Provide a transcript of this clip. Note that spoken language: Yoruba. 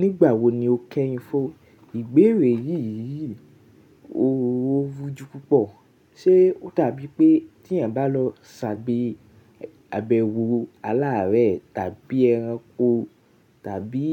Nígbà wo ni o kẹ́hìn fún ìgbéerè yìí? Òróró rúju púpọ̀ ṣé ó dàbí pé tí eeyan bá n lọ ṣàgbé abẹwò o alàárẹ̀, tàbí ẹranko, tàbí